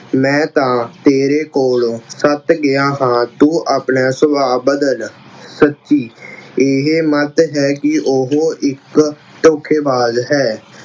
ਮੈਂ ਤਾਂ ਤੇਰੇ ਕੋਲੋ ਸੱਤ ਗਿਆ ਹਾਂ ਤੂੰ ਆਪਣਾ ਸੁਭਾਅ ਬਦਲ। ਸੱਤੀ, ਏਹੇ ਮਥ ਹੈ ਕਿ ਉਹੋ ਇੱਕ ਧੋਖੇਬਾਜ਼ ਹੈ।